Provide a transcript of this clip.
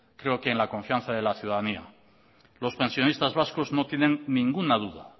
creo que en la confianza de la ciudadanía los pensionistas vascos no tienen ninguna duda